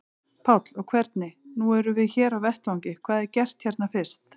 Páll: Og hvernig, nú erum við hér á vettvangi, hvað er gert hérna fyrst?